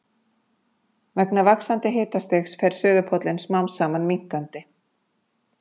Vegna vaxandi hitastigs fer suðurpóllinn smám saman minnkandi.